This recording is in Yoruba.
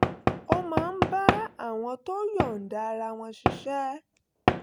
ó máa ń bá àwọn tó yọ̀ǹda ara wọn ṣiṣẹ́